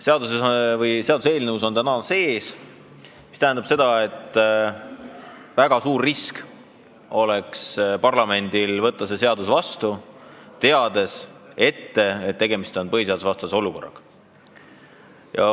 Seaduseelnõus on see täna sees, mis tähendab, et parlamendile oleks väga suur risk see seadus vastu võtta, teades ette, et tegemist on põhiseadusvastase olukorraga.